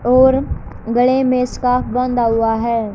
और गले में इसका बंधा हुआ है।